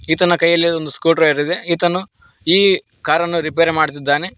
ಈತನ ಕೈಯಲ್ಲಿ ಒಂದು ಸ್ಕ್ರೆ ಡ್ರೈವರ್ ಇದೆ ಈತನು ಈ ಕಾರನ್ನು ರಿಪೇರಿ ಮಾಡುತ್ತಿದ್ದಾನೆ.